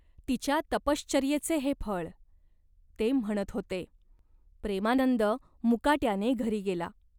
तिच्या तपश्वर्येचे हे फळ !" ते म्हणत होते. प्रेमानंद मुकाट्याने घरी गेला.